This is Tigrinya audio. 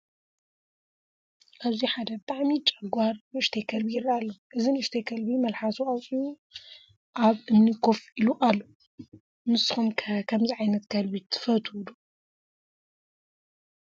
ኣብዚ ሓደ ብጣዕሚ ጨጓር ንእሽተይ ከልቢ ይረኣይ ኣሎ። እዚ ንእሽተይ ከልቢ መልሓሱ ኣውፂኡ ኣብ እምኒ ኮፍ ኢሉ ኣሎ'። ንስኩም ከ ከምዚ ዓይነት ከልቢ ትፈትው ዶ?